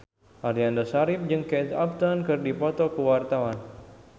Aliando Syarif jeung Kate Upton keur dipoto ku wartawan